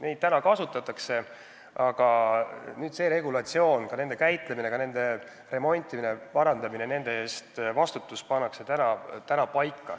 Neid relvi meil kasutatakse, aga nüüd pannakse paika regulatsioon: nende käitlemine, nende remontimine-parandamine, vastutus nende eest.